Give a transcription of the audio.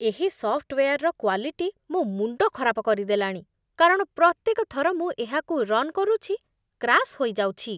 ଏହି ସଫ୍ଟୱେୟାରର କ୍ଵାଲିଟି ମୋ ମୁଣ୍ଡ ଖରାପ କରିଦେଲାଣି, କାରଣ ପ୍ରତ୍ୟେକ ଥର ମୁଁ ଏହାକୁ ରନ୍ କରୁଛି, କ୍ରାସ ହୋଇଯାଉଛି।